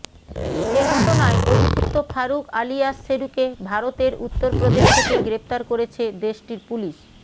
এ ঘটনায় অভিযুক্ত ফারুক আলিয়াস শেরুকে ভারতের উত্তর প্রদেশ থেকে গ্রেফতার করেছে দেশটির পুলিশ